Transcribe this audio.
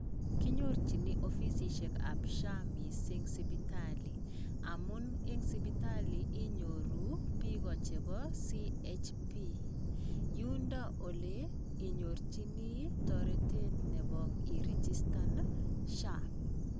Kinyorjini ofisissiekab SHA missing sipitali, amun eng sipitli inyoru bik o chepo CHP, yundo oleinyorjini taretet nebo iregistan SHA.